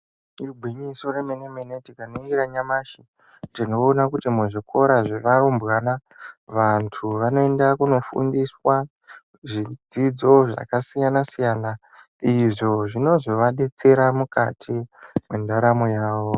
Igwinyiso remene-mene tikaningira nyamashi, tinoona kuti muzvikora zvevarumbwana, vantu vanoenda kunofundiswa zvidzidzo zvakasiyana-siyana, izvo zvinozovadetsera mukati mwendaramo yavo.